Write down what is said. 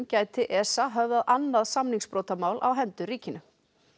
gæti ESA höfðað annað samningsbrotamál á hendur ríkinu